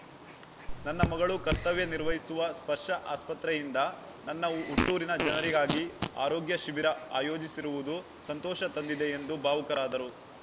ನನ್ನ ಮಗಳು ಕರ್ತವ್ಯನಿರ್ವಹಿಸುವ ಸ್ಪರ್ಶ ಆಸ್ಪತ್ರೆಯಿಂದ ನನ್ನ ಹುಟ್ಟೂರಿನ ಜನರಿಗಾಗಿ ಆರೋಗ್ಯ ಶಿಬಿರ ಆಯೋಜಿಸಿರುವುದು ಸಂತೋಷ ತಂದಿದೆ ಎಂದು ಭಾವುಕರಾದರು